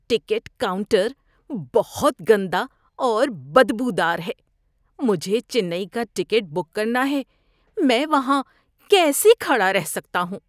Ticket counter بہت گندا اور بدبودار ہے۔ مجھے چنئی کا ٹکٹ بک کرنا ہے، میں وہاں کیسے کھڑا رہ سکتا ہوں؟